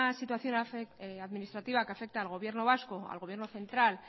situación administrativa que afecta al gobierno vasco al gobierno central